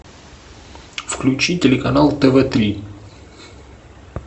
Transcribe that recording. включи телеканал тв три